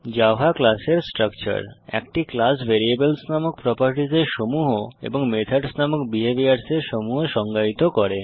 Java class এর স্ট্রাকচার160 একটি ক্লাস ভ্যারিয়েবলস নামক প্রোপারটিসের সমূহ এবং মেথডস নামক বিহেভিয়ার্সের সমূহ সংজ্ঞায়িত করে